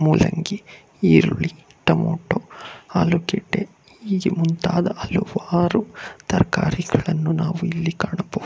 ಮುಲ್ಲಂಗಿ ಈರುಳ್ಳಿ ಟೊಮೆಟೊ ಆಲೂಗಡ್ಡೆ ಹೀಗೆ ಮುಂತಾದ ಹಲವಾರು ತರಕಾರಿಗಳನ್ನು ನಾವು ಇಲ್ಲಿ ಕಾಣಬಹುದು.